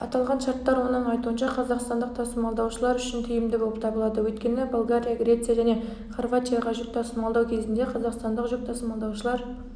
аталған шарттар оның айтуынша қазақстандық тасымалдаушылар үшін тиімді болып табылады өйткені болгария греция және хорватияға жүк тасымалдау кезінде қазақстандық жүк тасымалдаушылар